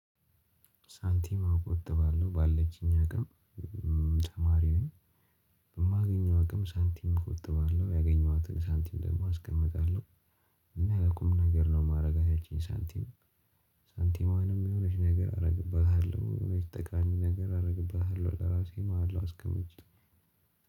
ሳንቲም እቆጥባለሁ ባለችኝ አቅም ተማሪ ነኝ። በማገኘው አቅም ሳንቲም እቆጥባለሁ ያገኘኋትን ሳንቲም ደግሞ አስቀምጣለሁ። እና አቁም ነገር ነው የማደርጋት ያቺን ሳንቲም። ሳንቲሟንም የሆነች ነገር አደርግባታለሁ የሆነች ጠቃሚ ነገር አደርግባታለው ለራሴ ማለት ነው። አስቀምጬ